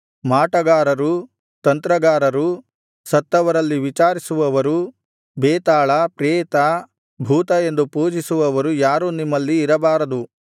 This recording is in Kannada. ಮಾಟಗಾರರು ತಂತ್ರಗಾರರು ಸತ್ತವರಲ್ಲಿ ವಿಚಾರಿಸುವವರು ಬೇತಾಳ ಪ್ರೇತ ಭೂತ ಎಂದು ಪೂಜಿಸುವವರು ಯಾರೂ ನಿಮ್ಮಲ್ಲಿ ಇರಬಾರದು